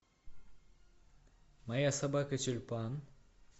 моя собака тюльпан